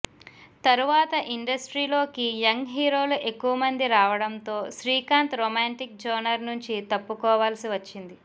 తరవాత ఇండస్ట్రీలోకి యంగ్ హీరోలు ఎక్కువమంది రావడంతో శ్రీకాంత్ రొమాంటిక్ జోనర్ నుంచి తప్పుకోవాల్సి వచ్చింది